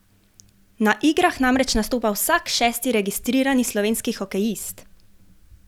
Na igrah namreč nastopa vsak šesti registrirani slovenski hokejist!